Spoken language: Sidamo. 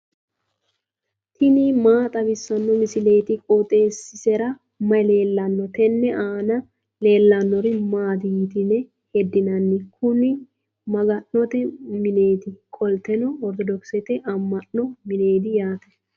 tini maa xawissanno misileeti? qooxeessisera may leellanno? tenne aana leellannori maati yitine heddinanni? kuni maga'note mineeti, qoltenno ortodokisete amma'no mineeti yaate